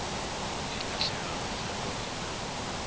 e lahlegago ge go ena